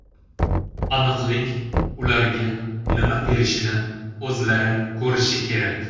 Aniqlik ularga nima berishini o‘zlari ko‘rishi kerak”.